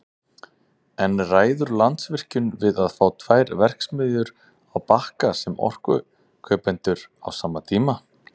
En ræður Landsvirkjun við að fá tvær verksmiðjur á Bakka sem orkukaupendur á sama tíma?